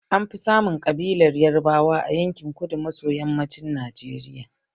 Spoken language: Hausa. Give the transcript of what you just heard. An fi samun ƴan ƙabilar Yarbawa a yankin kudu maso yammacin Najeriya.